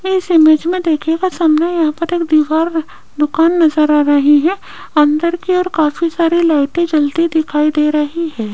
इस इमेज में देखिएगा सामने यहां पर एक दीवार दुकान नजर आ रही है अंदर की ओर काफी सारी लाइटें जलती दिखाई दे रही है।